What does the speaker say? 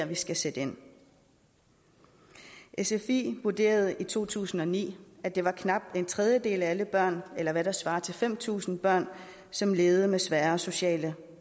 vi skal sætte ind sfi vurderede i to tusind og ni at det var knap en tredjedel af alle børn eller hvad der svarer til fem tusind børn som levede med svære sociale